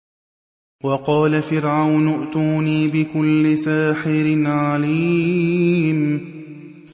وَقَالَ فِرْعَوْنُ ائْتُونِي بِكُلِّ سَاحِرٍ عَلِيمٍ